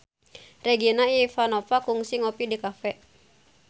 Regina Ivanova kungsi ngopi di cafe